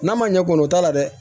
N'a ma ɲɛ k'o o t'a la dɛ